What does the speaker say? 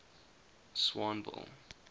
swanville